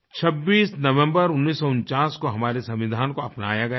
26 नवम्बर 1949 को हमारे संविधान को अपनाया गया था